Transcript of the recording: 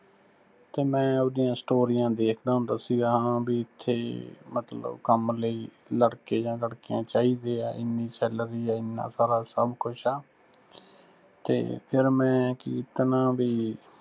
ਤੇ ਮੈਂ ਉਹਦੀਆਂ story ਆਂ ਦੇਖਦਾ ਹੁੰਦਾ ਸੀ ਹਾਂ ਬੀ ਇਥੇ ਮਤਲਬ ਕੰਮ ਲਈ ਲੜਕੇ ਜਾਂ ਲੜਕੀਆਂ ਚਾਹੀਦੇ ਆ, ਇੰਨੀ salary ਆ ਇਨਾਂ ਸਾਰਾ ਸੱਭ ਕੁਝ ਆ, ਤੇ ਫਿਰ ਮੈਂ ਕੀ ਕੀਤਾ ਨਾ ਬੀ